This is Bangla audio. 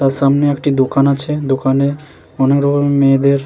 তার সামনে একটি দোকান আছে দোকানে অনেকরকম মেয়েদের--